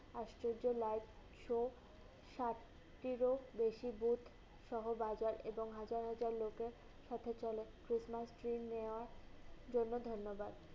আশ্চর্য life show সাতটিরও বেশি boot সহ biker এবং হাজার হাজার লোকের সাথে চলে। Cristmas dream নেওয়ার জন্য ধন্যবাদ।